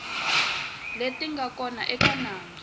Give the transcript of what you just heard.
leti nga kona eka nandzu